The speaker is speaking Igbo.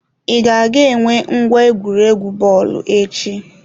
I ga-aga enwe ngwa egwuregwu bọọlụ echi?